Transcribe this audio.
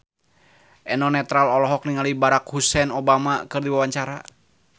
Eno Netral olohok ningali Barack Hussein Obama keur diwawancara